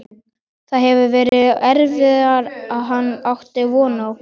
Það hefur verið erfiðara en hann átti von á.